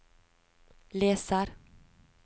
leser